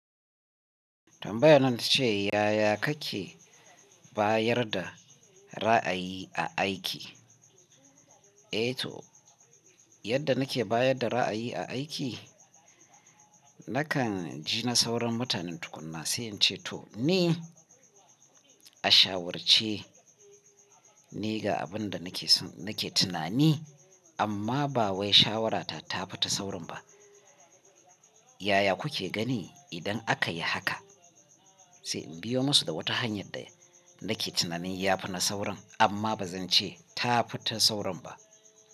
Tambayarnan ta ce yaya kake bayar da ra'ayi a aiki? Eh to, yadda nake bayar da ra'ayi a aiki, nakan ji na sauran mutanen tukuna, sai in ce to ni a shawarce ni ga abin da nake so, nake tunani amma ba wai shawarata ta fita saurin ba. Yaya kuke gani idan aka yi haka? Sai in biyo masu da wata hanyar da nake tunanin ya fi na saurin amma ba zan ce ta fita saurin ba.